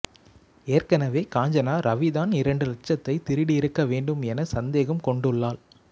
ஏற்கனவே காஞ்சனா ரவிதான் இரண்டு லட்சத்தை திருடியிருக்க வேண்டும் என சந்தேகம் கொண்டுள்ளாள்